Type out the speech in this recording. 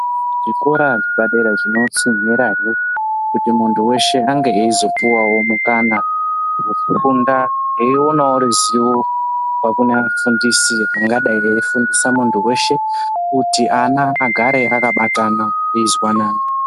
Zvikora zvepadera zvinotsinhirahe kuti muntu veshe ange eizopuwavo mukana vekufunda eionavo ruzivo kubva kunaafundisi angadai aefungisa muntu veshe. Kuti ana agare akabatana eizwanana.